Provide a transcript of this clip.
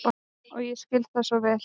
Og ég skil það svo vel.